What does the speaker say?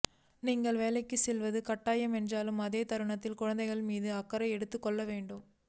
நீங்கள் வேலைக்கு செல்வது கட்டாயம் என்றாலும் அதே தருணத்தில் குழந்தைகள் மீது அக்கறையும் எடுத்துக் கொள்ள வேண்டும்